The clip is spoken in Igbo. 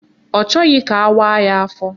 Ọ chọghị ka awaaa ya afọ